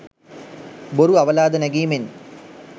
බොරු අවලාද නැගීමෙන්